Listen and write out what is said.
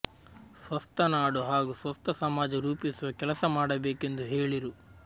ಸ್ವಸ್ಥ ನಾಡು ಹಾಗೂ ಸ್ವಸ್ಥ ಸಮಾಜ ರೂಪಿಸುವ ಕೆಲಸ ಮಾಡಬೇಕೆಂದು ಹೇಳಿರು